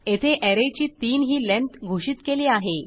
येथे ऍरेची 3 ही लेंथ घोषित केली आहे